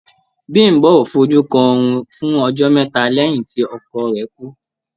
Bím̀bó ò fojú kan oòrùn fún ọjọ́ mẹ́ta lẹ́yìn tí ọkọ rẹ̀ kú.